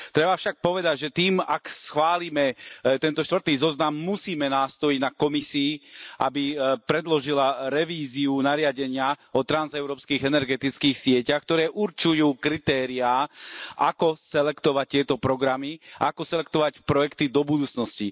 Treba však povedať, že tým, ak schválime tento štvrtý zoznam, musíme nástojiť na Komisii, aby predložila revíziu nariadenia o transeurópskych energetických sieťach, ktoré určujú kritériá ako selektovať tieto programy a ako selektovať projekty do budúcnosti.